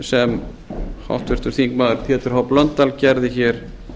sem háttvirtur þingmaður pétur h blöndal gerði hér